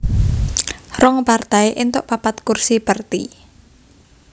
Rong partai éntuk papat kursi Perti